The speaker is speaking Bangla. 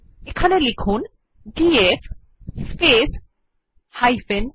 এবার লিখুন ডিএফ স্পেস h